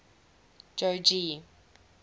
jogee